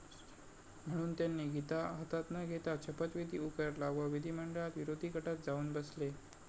म्हणून त्यांनी गीता हातात न घेताच शपथविधी उरकला व विधिमंडळात विरोधी गटात जाऊन बसले